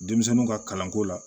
Denmisɛnninw ka kalanko la